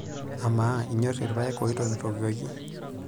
Amaa, inyorr ilpayek oitokitokieki?